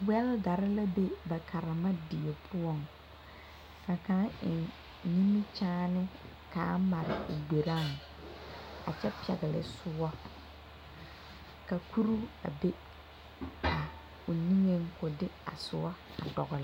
Wɛldare la be ba karemadie poɔŋ ka kaŋ eŋ nimikyaane kaa mare o gberaaŋ a kyɛ pɛgle soɔ ka kuruu a be o niŋeŋ ko a soɔ dɔgle.